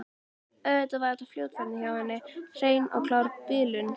Auðvitað var þetta fljótfærni hjá henni, hrein og klár bilun.